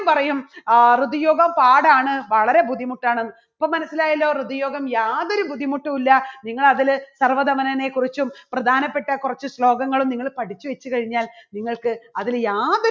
പറയും ആഹ് ഋതുയോഗം പാടാണ് വളരെ ബുദ്ധിമുട്ടാണ് ഇപ്പോൾ മനസ്സിലായല്ലോ ഋതുയോഗം യാതൊരു ബുദ്ധിമുട്ടുമില്ല നിങ്ങൾ അതില് സർവ്വധമനനെക്കുറിച്ചും പ്രധാനപ്പെട്ട കുറച്ച് ശ്ലോകങ്ങളും നിങ്ങള് പഠിച്ചുവെച്ച് കഴിഞ്ഞാൽ നിങ്ങൾക്ക് അതില് യാതൊ~